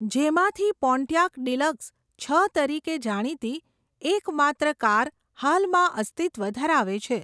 જેમાંથી Pontiac deluxe, છ તરીકે જાણીતી, એક માત્ર કાર હાલમાં અસ્તિત્વ ધરાવે છે.